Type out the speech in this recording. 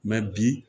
bi